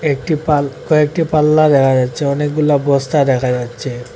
একটি পাল কয়েকটি পাল্লা দেখা যাচ্ছে অনেকগুলা বস্তা দেখা যাচ্ছে।